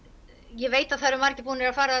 ég veit að það eru margir búnir að fara